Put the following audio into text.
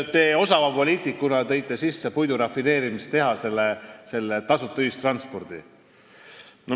Te osava poliitikuna tõite lisaks puidurafineerimistehase teemale sisse tasuta ühistranspordi.